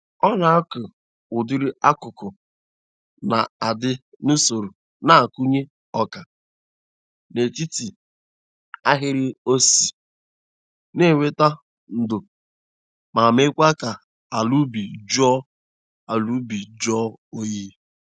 Ọ na-akụ ụdịrị akụkụ na-adị n'usoro na-akụnye ọka n'etit ahịrị ossi na-eweta ndo ma meekwa ka ala ubi jụọ ala ubi jụọ oyi.